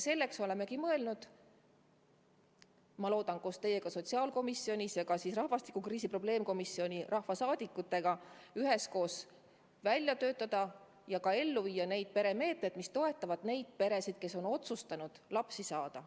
Seepärast olemegi mõelnud loodetavasti koos teiega sotsiaalkomisjonis ja ka rahvastikukriisi probleemkomisjoni liikmetega välja töötada ja ellu viia meetmed, mis toetavad peresid, kes on otsustanud lapsi saada.